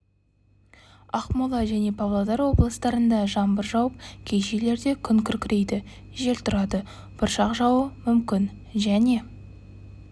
ақмола және павлодар облыстарында жаңбыр жауып кей жерлерде күн күркірейді жел тұрады бұршақ жаууы мүмкін және